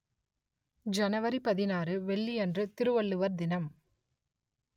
ஜனவரி பதினாறு வெள்ளி அன்று திருவள்ளுவர் தினம்